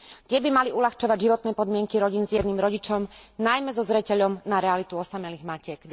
Tie by mali uľahčovať životné podmienky rodín s jedným rodičom, najmä so zreteľom na realitu osamelých matiek.